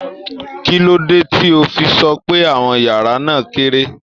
Kí ló dé tí o fi sọ pé àwọn yàrá náà kéré?